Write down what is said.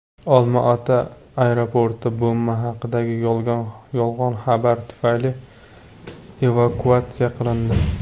Olmaota aeroporti bomba haqidagi yolg‘on xabar tufayli evakuatsiya qilindi.